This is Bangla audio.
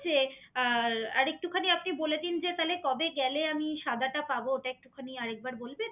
যে আর একটুখানি বলে দিন যে তালে কবে গেলে আমি সাদাটা পাবো ওটা একটুখানি আর এক বার বলবেন